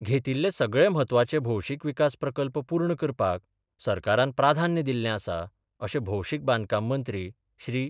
घेतिल्ले सगळे म्हत्वाचे भौशीक विकास प्रकल्प पूर्ण करपाक सरकारान प्राधान्य दिल्ले आसा अशें भौशीक बांदकाम मंत्री श्री.